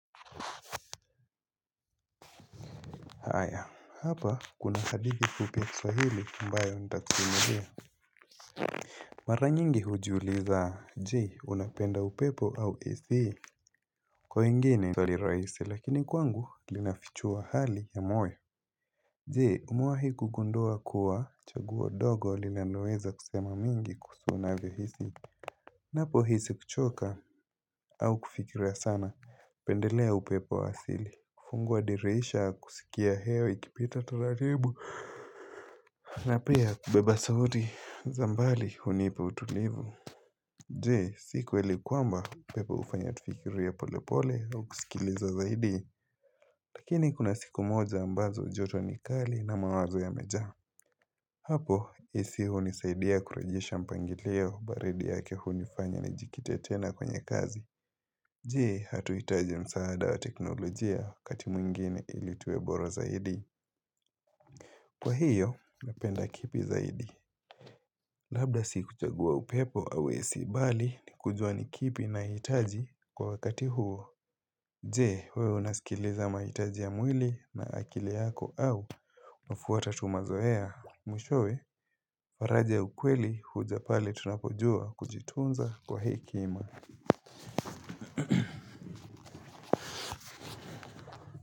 Haya hapa kuna hadithii fupi ya kiswahili ambayo ntakusumulia Mara nyingi hujiuliza jee unapenda upepo au esi kwa ingine Sali raisi lakini kwangu linafichua hali ya moyo Jee umuahi kugundua kuwa chaguo dogo linanweza kusema mingi unavyohisi Napo hisi kuchoka au kufikira sana pendelea upepo wa asili fungua dirisha kusikia heowa ikipita taratibu na pia beba sauti za mbali hunipa utulivu Jee siku likuamba pepo ufanya tufikirie ya pole pole au kusikiliza zaidi Lakini kuna siku moja ambazo joto ni kali na mawazo yameja Hapo isi hunisaidia kurajisha mpangilio baridi yake hunifanya ni jikite tena kwenye kazi Jee hatuitaje msaada wa teknolojia wakati mwingine ili tuwe bora zaidi Kwa hiyo, napenda kipi zaidi. Labda si kuchagua upepo awesi bali ni kujua ni kipi na hitaji kwa wakati huo. Jee, wewe unaskiliza mahitaji ya mwili na akili yako au wafuata tu mazoea. Mwishowe, faraja ya ukweli huja pale tunapojua kujitunza kwa hekima.